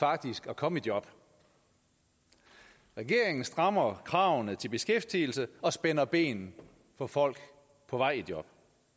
faktisk at komme i job regeringen strammer kravene til beskæftigelse og spænder ben for folk på vej i job